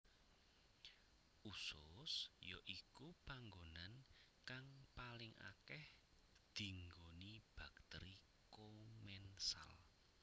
Usus ya iku panggonan kang paling akeh dinggoni bakteri komensal